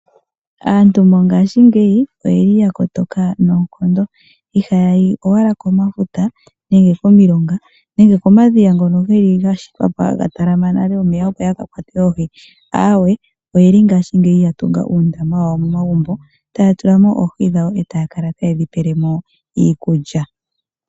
Aantu mongashingeyi oyeli ya kotoka noonkondo. Ihaya yi owala komafuta, komilonga nenge komadhiya ngono geli po ga shitwa haga talama omeya opo ya ka kwate oohi, aawe oyeli ngashingeyi ya tunga uundama wawo momagumbo e taa tula ko oohi dhawo ta kala taye dhi pele mo iikulya.